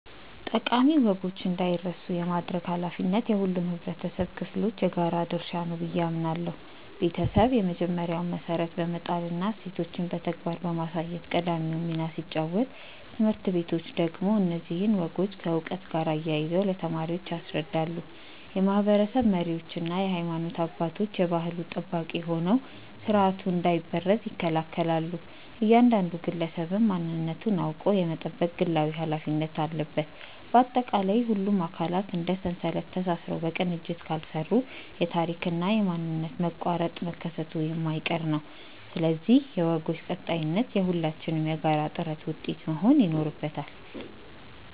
ጠቃሚ ወጎች እንዳይረሱ የማድረግ ኃላፊነት የሁሉም የኅብረተሰብ ክፍሎች የጋራ ድርሻ ነው ብዬ አምናለሁ። ቤተሰብ የመጀመሪያውን መሠረት በመጣልና እሴቶችን በተግባር በማሳየት ቀዳሚውን ሚና ሲጫወት፣ ትምህርት ቤቶች ደግሞ እነዚህን ወጎች ከዕውቀት ጋር አያይዘው ለተማሪዎች ያስረዳሉ። የማኅበረሰብ መሪዎችና የሃይማኖት አባቶች የባሕሉ ጠባቂ ሆነው ሥርዓቱ እንዳይበረዝ ይከላከላሉ፤ እያንዳንዱ ግለሰብም ማንነቱን አውቆ የመጠበቅ ግላዊ ኃላፊነት አለበት። ባጠቃላይ፣ ሁሉም አካላት እንደ ሰንሰለት ተሳስረው በቅንጅት ካልሠሩ የታሪክና የማንነት መቋረጥ መከሰቱ የማይቀር ነው፤ ስለዚህ የወጎች ቀጣይነት የሁላችንም የጋራ ጥረት ውጤት መሆን ይኖርበታል።